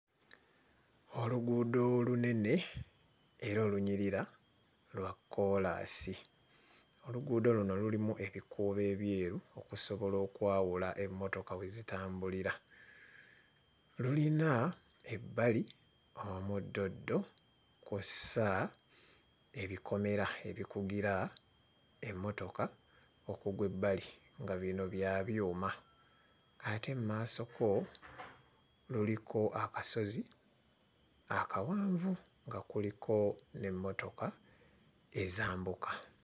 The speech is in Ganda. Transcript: Oluguudo olunene era olunyirira; lwa kkoolaasi. Oluguudo luno lulimu ebikuubo ebyeru okusobola okwawula emmotoka we zitambulira, lulina ebbali omuddoddo kw'ossa ebikomera ebikugira emmotoka okugwa ebbali nga bino bya byuma ate mu maasoko luliko akasozi akawanvu nga kuliko n'emmotoka ezambuka.